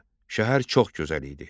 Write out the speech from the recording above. Şəhər çox gözəl idi.